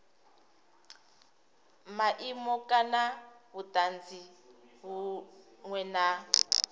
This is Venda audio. maimo kana vhutanzi vhunwe na